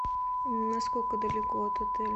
насколько далеко от отеля